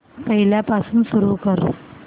पहिल्यापासून सुरू कर